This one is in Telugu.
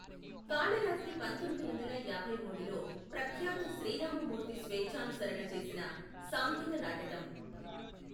కాళరాత్రి పంతొమ్మిది వందల యాభై మూడులో ప్రఖ్యాతు శ్రీరామమూర్తి స్వేఛానుసరణ చేసిన సాంఘీక నాటకం.